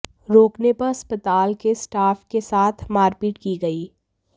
राेकने पर अस्पताल के स्टाफ के साथ मारपीट की गई